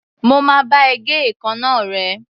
Mo máa bá ẹ gé èékánná rẹ̀.